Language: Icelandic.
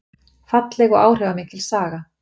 Falleg og áhrifamikil saga